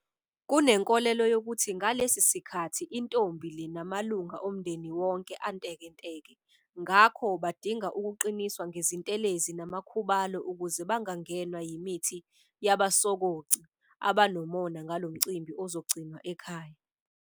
Kunenkolelo yokuthi ngalesi sikhathi intombi le namalunga omndeni wonke antekenteke ngakho badinga ukuqiniswa ngezintelezi namakhubalo ukuze bangangenwa yimithi yabasokoci abanomona ngalo mcimbi ozogcinwa ekhaya.